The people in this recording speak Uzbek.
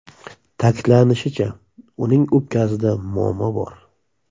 Ta’kidlanishicha, uning o‘pkasida muammo bor.